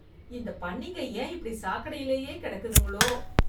இந்த பன்னிங்க ஏன் இப்படி சாக்கடையிலேயே கிடக்குதுங்களோ